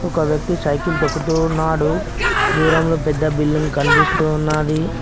ఒక వ్యక్తి సైకిల్ తోక్కుతూ ఉన్నాడు దూరం లో పెద్ద బిల్డింగ్ కనిపిస్తు ఉన్నాది.